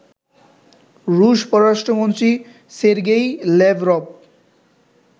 রুশ পররাষ্ট্রমন্ত্রী Sergei Lavrov